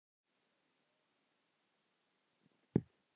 Við munum hittast síðar.